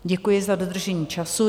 Děkuji za dodržení času.